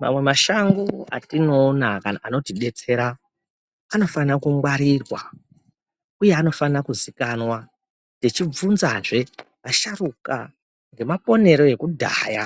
Mamwe mashango atinoona kana anotidetsera anofana kungwarirwa uye anofana kuzikanwa tchibvunzazve asharukwa nemaponero ekudhaya